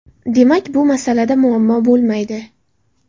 Demak, bu masalada muammo bo‘lmaydi.